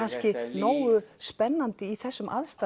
nógu spennandi í þessum aðstæðum